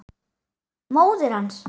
Móðir hans!